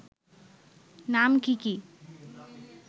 নাম কি কি